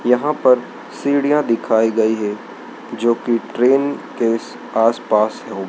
यहां पर सीढ़ियां दिखाई गई है जो की ट्रेन के स आसपास हो।